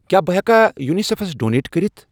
کیٛاہ بہٕ ہٮ۪کا یوٗنِسیٚفَس ڈونیٹ کٔرِتھ؟